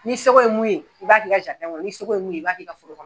N'i seko ye mun ye i b'a kɛ i ka kɔnɔ n'i seko ye mun ye i b'a kɛ i ka foro kɔnɔ.